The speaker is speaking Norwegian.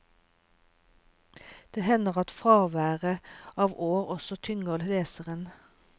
Det hender at fraværet av år også tynger leseren.